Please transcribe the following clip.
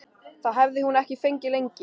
Það hafði hún ekki fengið lengi.